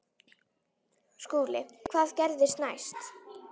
SKÚLI: Hvað gerðist næst?